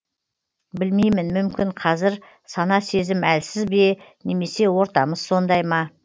білмеймін мүмкін қазір сана сезім әлсіз бе немесе ортамыз сондай ма